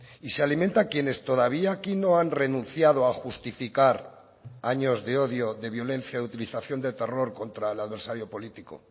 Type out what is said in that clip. y se alimenta a quienes todavía aquí no han renunciado a justificar años de odio de violencia de utilización del terror contra el adversario político